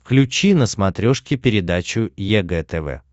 включи на смотрешке передачу егэ тв